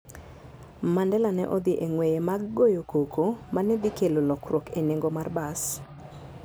Mandela ne odhi e ng'weye mag goyo koko ma ne dhi kelo lokruok e nengo mar bas.